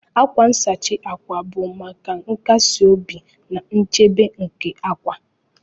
Akwa nsachi akwa bụ maka nkasi obi na nchebe nke akwa